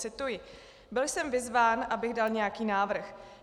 Cituji: "Byl jsem vyzván, abych dal nějaký návrh.